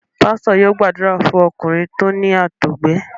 Pásítọ̀ yóò gbàdúrà fún ọkùnrin tó ní àtọgbẹ.